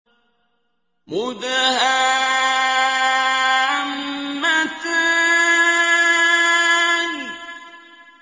مُدْهَامَّتَانِ